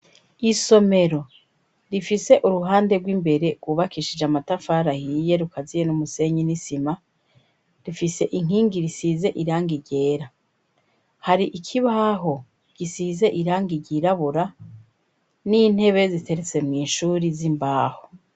Isomero rifise uruhande rw'imbere rwubakishije amatafari ahiye rukaziye n'umusenyi nisima rifise inkingi risize irangi ryera, hari ikibaho gisize irangi ry'irabura n'intebe ziteretse mw'ishuri z'imbaho.